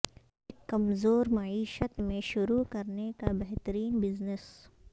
ایک کمزور معیشت میں شروع کرنے کا بہترین بزنس